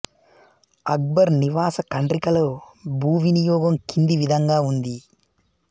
అక్బర్ నివాస ఖండ్రికలో భూ వినియోగం కింది విధంగా ఉంది